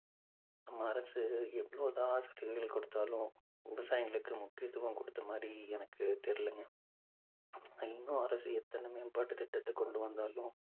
நம்ம அரசு எவ்வளவு தான் ஆஸ்பத்திரிகள் கொடுத்தாலும் விவசாயிங்களுக்கு முக்கியத்துவம் கொடுத்த மாதிரி எனக்கு தெரியலைங்க இன்னும் அரசு எத்தனை மேம்பாட்டு திட்டத்தை கொண்டு வந்தாலும்